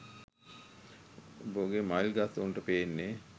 බොගේ මයිල් ගස් උන්ට පෙන්නේ